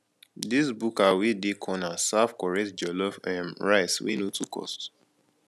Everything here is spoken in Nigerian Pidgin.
dis buka wey dey corner serve correct jollof um rice wey no too cost